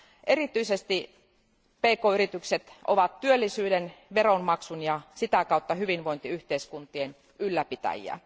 Erityisesti pk yritykset ovat työllisyyden, veronmaksun ja sitä kautta hyvinvointiyhteiskuntien ylläpitäjiä.